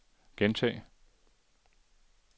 gentag